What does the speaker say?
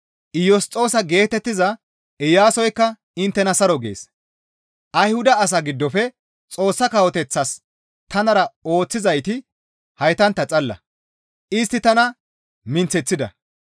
Iyosxoosa geetettiza Iyaasoykka inttena saro gees; Ayhuda asaa giddofe Xoossa Kawoteththas tanara ooththizayti haytantta xalla; istti tana minththeththida.